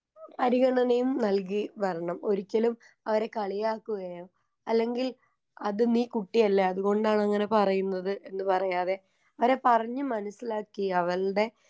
പരിഗണനയും നൽകി വരണം ഒരിക്കലും അവരെ കളിയാക്കുകയോ അല്ലെങ്കിൽ അത് നീ കുട്ടിയല്ലെ അതുകൊണ്ടങ്ങനെ പറയുന്നത് എന്ന് പറയാതെ അവരെ പറഞ്ഞ് മനസ്സിലാക്കി അവൾടെ.